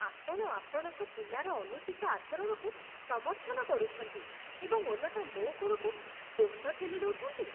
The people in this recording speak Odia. ଆପଣ ଆପଣଙ୍କ ପିଲାର ଅନୁଚିତ ଆଚରଣକୁ ସମର୍ଥନ କରୁଛନ୍ତି, ଏବଂ ଓଲଟା ମୋ ଉପରକୁ ଦୋଷ ଠେଲିଦେଉଛନ୍ତି!